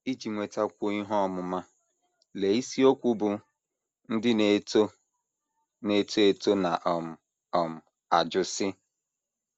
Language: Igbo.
Iji nwetakwuo ihe ọmụma, lee isiokwu bụ́ “ Ndị Na - eto Na - eto Eto Na um - um ajụ Sị...